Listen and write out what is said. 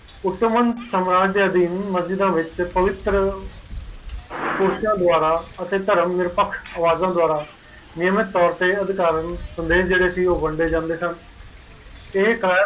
ਉਤਮ ਸਮਰਾਂ ਦੇ ਅਦੀਨ ਮਜੀਦ ਵਿਚ ਪਵਿੱਤਰ ਅਤੇ ਥਰਮ ਵਿਪਕਸ਼ ਦੁਆਰਾ ਨਿਰਮਿਤ ਤੋਰ ਦੇ ਅਧਿਕਾਰਾਂ ਵੰਡੇ ਜਾਂਦੇ ਸਨ